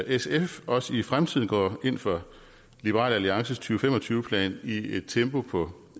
sf også i fremtiden går ind for liberal alliances to fem og tyve plan i et tempo på